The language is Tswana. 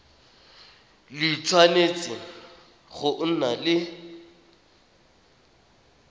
le tshwanetse go nna le